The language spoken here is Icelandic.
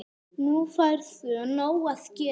Nú færðu nóg að gera